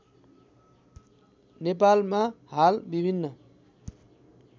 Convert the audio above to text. नेपालमा हाल विभिन्न